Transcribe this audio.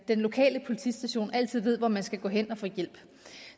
den lokale politistation altid ved hvor man skal gå hen og få hjælp